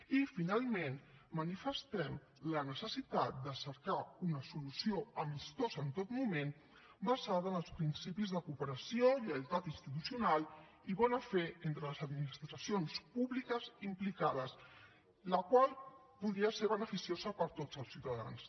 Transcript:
i finalment manifestem la necessitat de cercar una solució amistosa en tot moment basada en els principis de cooperació lleialtat institucional i bona fe entre les administracions públiques implicades la qual podria ser beneficiosa per a tots els ciutadans